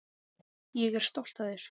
Ég er stolt af þér.